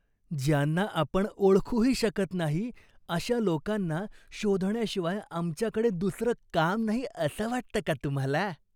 ज्यांना आपण ओळखूही शकत नाही अशा लोकांना शोधण्याशिवाय आमच्याकडे दुसरं काम नाही असं वाटतं का तुम्हाला?